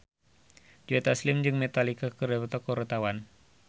Joe Taslim jeung Metallica keur dipoto ku wartawan